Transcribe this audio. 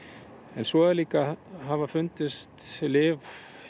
en svo líka hafa fundist lyf